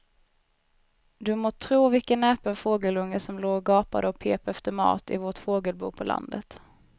Du må tro vilken näpen fågelunge som låg och gapade och pep efter mat i vårt fågelbo på landet.